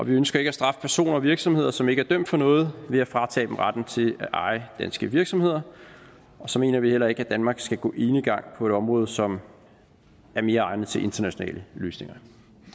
ønsker ikke at straffe personer og virksomheder som ikke er dømt for noget ved at fratage dem retten til at eje danske virksomheder og så mener vi heller ikke at danmark skal gå enegang på det område som er mere egnet til internationale løsninger